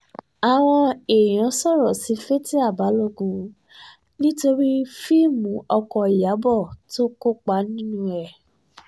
àwọn èèyàn sọ̀rọ̀ sí fatia balógun nítorí fíìmù ọkọ̀ ìyàbọ̀ tó kópa nínú ẹ̀